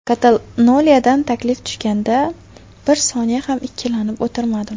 Kataloniyadan taklif tushganda bir soniya ham ikkilanib o‘tirmadim.